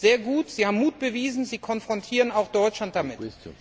Sehr gut, Sie haben Mut bewiesen, Sie konfrontieren auch Deutschland damit.